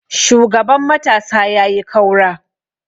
shugaban matasa ya yi kaura!